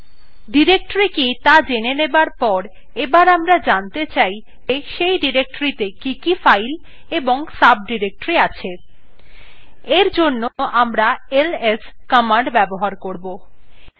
directory কি ত়া জেনে যাবার পর এবার আমরা জানতে চাই যে সেই ডিরেক্টরীটিতে কি কি files এবং সাবডিরেক্টরি আছে এর জন্য আমরা ls command ব্যবহার করবো